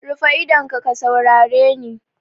Rufe idonka ka saurare ni!